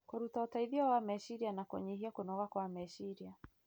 kũruta ũteithio wa meciria na kũnyihia kũnoga kwa meciria.